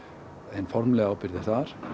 hin formlega ábyrgð er þar